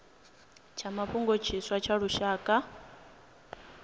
tsha mafhungo tshiswa tsha lushaka